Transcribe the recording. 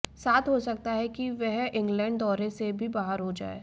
साथ हो सकता है कि वह इंग्लैंड दौरे से भी बाहर हो जाएं